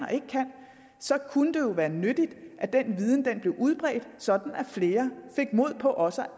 så kunne det være nyttigt at den viden blev udbredt sådan at flere fik mod på også